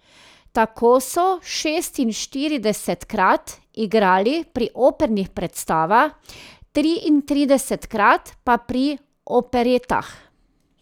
Tako so šestinštiridesetkrat igrali pri opernih predstavah, triintridesetkrat pa pri operetah.